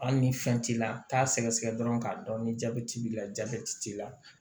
Hali ni fɛn t'i la t'a sɛgɛsɛgɛ dɔrɔn k'a dɔn ni jaabɛti b'i la jabɛti t'i la